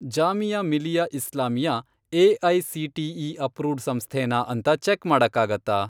Jamia Millia Islamia AICTE. Approved ಸಂಸ್ಥೆನಾ ಅಂತ check ಮಾಡಕ್ಕಾಗತ್ತಾ?